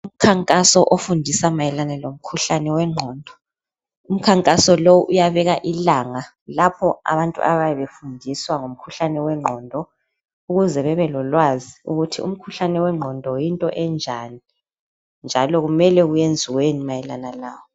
Umkhankaso ofundisa mayelana lomkhuhlane wengqondo. Umkhankaso lo uyabeka ilanga lapho abantu ababe befundiswa ngomkhuhlane wengqondo, ukuze bebelolwazi ukuthi umkhuhlane wengqondo yinto enjani njalo kumele kwenziweni mayelana lowo.